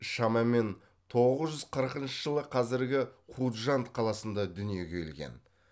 шамамен тоғыз жүз қырықыншы жылы қазіргі хужанд қаласында дүниеге келген